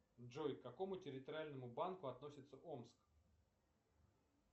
джой к какому территориальному банку относится омск